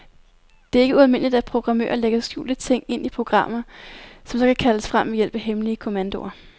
Det er ikke ualmindeligt, at programmører lægger skjulte ting ind i programmer, som så kan kaldes frem ved hjælp af hemmelige kommandoer.